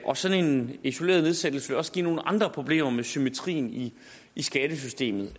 og sådan en isoleret nedsættelse vil også give nogle andre problemer med symmetrien i skattesystemet